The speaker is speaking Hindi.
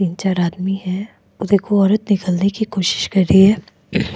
तीन चार आदमी हैं देखो औरत निकलने की कोशिश कर रही है।